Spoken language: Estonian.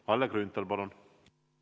Kalle Grünthal, palun!